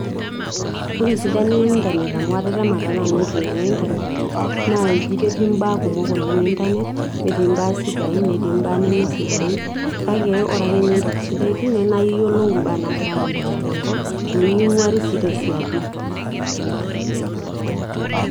ore esidano ee internet amu atetema taa nanu enkinyang'a ee internet , naa eji ketii ibaa kumok oleng' internet, kesidain netii ibaa neme sidain naa iyiolo entoki sidai tine naa keku iyiolo ibaa naagira aasa tenkop miking'uari sii tesiadi.